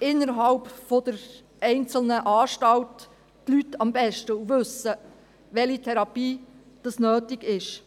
innerhalb der einzelnen Anstalt die Leute im Grunde genommen am besten und wissen, welche Therapie nötig ist.